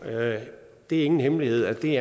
det er ingen hemmelighed at det